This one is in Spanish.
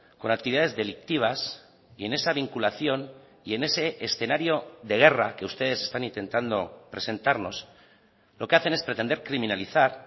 con actividades delictivas y en esa vinculación y en ese escenario de guerra que ustedes están intentando presentarnos lo que hacen es pretender criminalizar